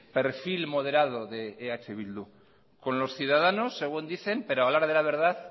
perfil moderado de eh bildu con los ciudadanos según dicen pero a la hora de la verdad